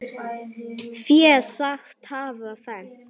Fé sagt hafa fennt.